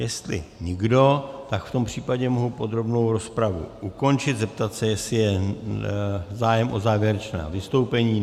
Jestli nikdo, tak v tom případě mohu podrobnou rozpravu ukončit, zeptat se, jestli je zájem o závěrečná vystoupení.